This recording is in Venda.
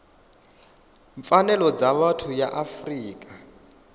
pfanelo dza vhuthu ya afrika